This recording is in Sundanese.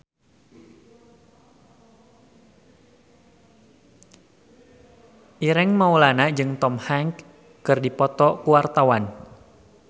Ireng Maulana jeung Tom Hanks keur dipoto ku wartawan